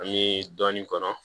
An bɛ dɔɔnin kɔnɔ